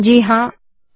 जी हां160